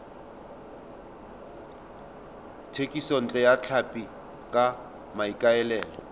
thekisontle ya tlhapi ka maikaelelo